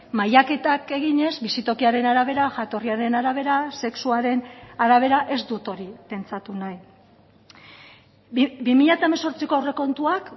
mailaketak eginez bizitokiaren arabera jatorriaren arabera sexuaren arabera ez dut hori pentsatu nahi bi mila hemezortziko aurrekontuak